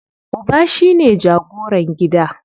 Uba shine jagoran gida.